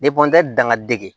dangadege